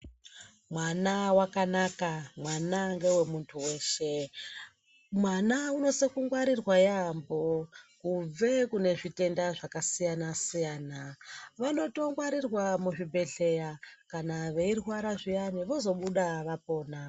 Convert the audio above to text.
Mwana wakanaka, mwana ngewe muntu weshe. Mwana unosise kungwarirwa yaampho, kunze kune zvitenda zvakasiyanasiyana, vanotongwarirwa muzvibhedhleya kana veirwara zviyani vozobuda vapona.